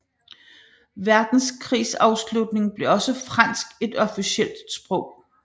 Verdenskrigs afslutning blev også fransk et officielt sprog